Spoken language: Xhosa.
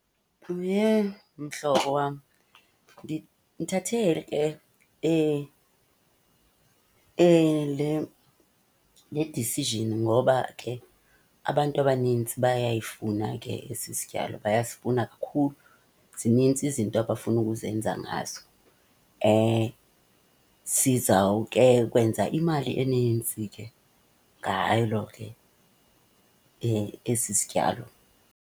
Mhlobo wam, ndithathe ke le, le decision ngoba ke abantu abanintsi bayayifuna ke esi sityalo, bayasifuna kakhulu. Zinintsi izinto abafuna ukuzenza ngaso. Sizawukhe kwenza imali enintsi ke ngalo ke esi sityalo.